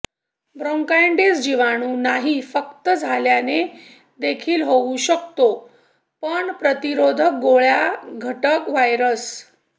bronchitis जीवाणू नाही फक्त झाल्याने देखील होऊ शकते पण प्रतिरोधक गोळ्या घटक व्हायरस